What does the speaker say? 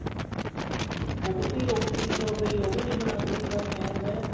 ਬਹੁਤ ਹੀ ਔਖੀ ਉਹ ਵੀ ਨਹੀ ਬਣਾਉਂਦੀ ਬਸ ਏਵੇਂ ਹੈ